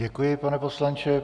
Děkuji, pane poslanče.